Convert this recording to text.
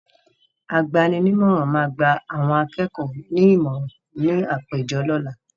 Agbaninímọ̀ràn máa gba àwọn akẹ́kọ̀ọ́ ní ìmọ̀rà ní àpéjọ lọ́la.